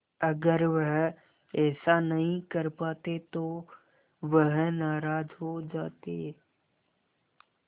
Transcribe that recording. अगर वह ऐसा नहीं कर पाते तो वह नाराज़ हो जाते